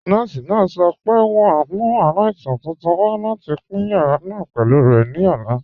Nọọ̀si náà sọ̀ pé wọn n mú aláìsàn tuntun wà láti pin yàrà náà pẹ̀lú rẹ̀ ní ọ̀la.